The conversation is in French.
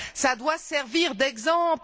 Ça doit servir d'exemple!